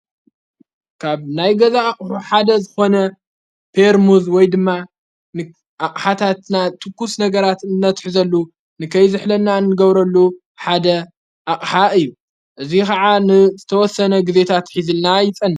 ካብ ናይ ገዛ ኣቕሑ ሓደ ዝኾነ ጴርሙዝ ወይ ድማ ንኣቕሓታትና ትኩስ ነገራት እነትሕዘሉ ንከይ ዘኅለና እንገብረሉ ሓደ ኣቕሓ እዩ እዙይ ከዓ ንዝተወሰነ ግዜታት ኂዝልና ይጸንህ፡፡